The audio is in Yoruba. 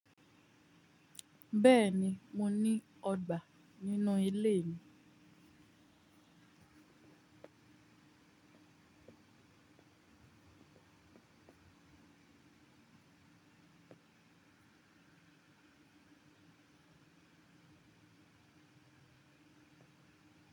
Bẹ́ẹ̀ni, mo ní ọgbà nínú ilé mi.